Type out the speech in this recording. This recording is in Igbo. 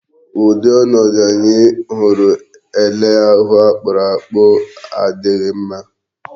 Ụdị ọnọdụ anyị hụrụ ele ahụ akpụrụ akpụ adịghị mma.